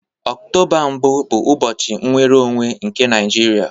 Octoba mbụ bụ ụbọchị nnwere onwe nke Naijiria